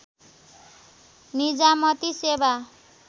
निजामती सेवा